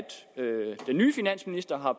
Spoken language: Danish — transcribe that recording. den nye finansminister har